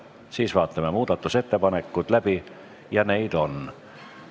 Siis vaatame läbi muudatusettepanekud – neid on.